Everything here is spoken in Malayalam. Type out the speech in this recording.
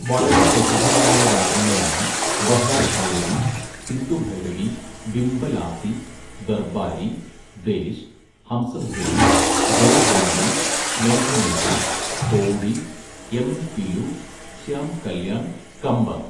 വളരെ പ്രസിദ്ധങ്ങളായ രാഗങ്ങളാണ് ബഹാർ ഭൈരവി, സിന്ധുഭൈരവി, ഭിംപ ലാസി, ദർബാരി ദേശ്, ഹംസധ്വനി, ജയജയന്തി, മേഘമൽഹാർ, തോടി യമൻ പിലു ശ്യാംകല്യാൺ കംബങ്.